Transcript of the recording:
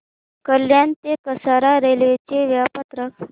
कल्याण ते कसारा रेल्वे चे वेळापत्रक